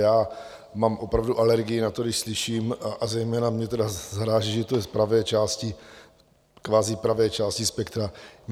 Já mám opravdu alergii na to, když slyším, a zejména mě tedy zaráží, že to je z pravé části, kvazi pravé části spektra.